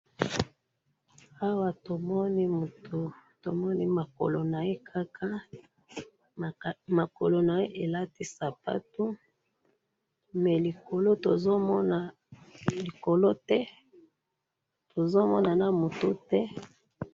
awa to moni mutu to moni ma kolo naye kaka ma kolo naye elati sapatu mais likolo to so mona likolo te tozo mona na mutu te